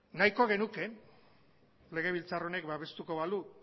nahiko genuke legebiltzar honek babestuko balu